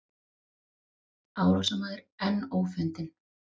Árásarmaður enn ófundinn